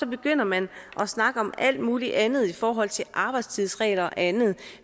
begynder man at snakke om alt muligt andet i forhold til arbejdstidsregler og andet